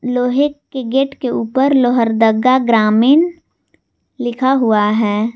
लोहे के गेट के ऊपर लोहरदगा ग्रामीण लिखा हुआ है।